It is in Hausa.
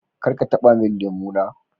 kar ka taba lemu na.